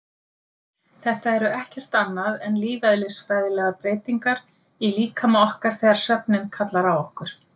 Þetta eru ekkert annað en lífeðlisfræðilegar breytingar í líkama okkar þegar svefninn kallar á okkur.